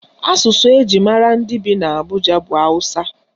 Asụsụ eji mara ndị bi n'Abụja bụ Awụsa.